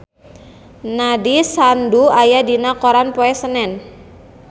Nandish Sandhu aya dina koran poe Senen